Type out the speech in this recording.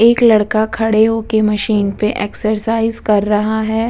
एक लड़का खड़े हो के मशीन पे एक्सरसाइज कर रहा है।